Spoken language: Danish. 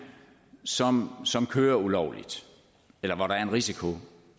som som kører ulovligt eller hvor der er en risiko